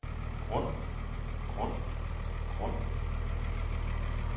grund grund grund